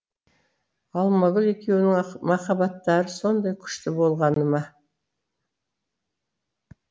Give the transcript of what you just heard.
алмагүл екеуінің махаббаттары сондай күшті болғаны ма